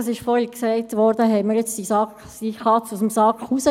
Es wurde vorhin gesagt, wir hätten die Katze jetzt aus dem Sack gelassen: